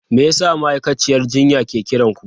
Me yasa ma'aikaciyar jinya ke kiran ku?